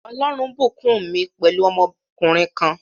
Ọlọrun bùkún mi pẹ̀lú ọmọkùnrin kan